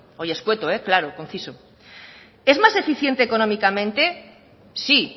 oye escueto claro conciso es más eficiente económicamente sí